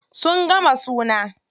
Sun gama suna.